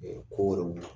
Ɛɛ ko wɛrɛw